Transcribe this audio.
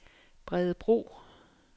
Bredebro